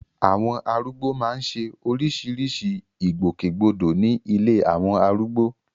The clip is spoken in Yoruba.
Àwọn arúgbó máa ń ṣe oríṣiríṣi ìgbòkègbodò ní ilé àwọn arúgbó